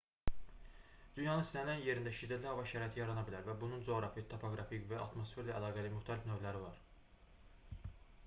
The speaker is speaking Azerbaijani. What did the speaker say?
dünyanın istənilən yerində şiddətli hava şəraiti yarana bilər və bunun coğrafi topoqrafik və ya atmosferlə əlaqəli müxtəlif növləri var